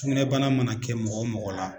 Sugunɛbana mana kɛ mɔgɔ mɔgɔ la